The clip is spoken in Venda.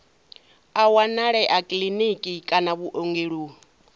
a wanalea kiḽiniki kana vhuongeloni